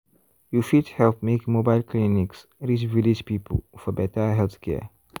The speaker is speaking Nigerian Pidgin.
you fit help make mobile clinics reach village people for better healthcare.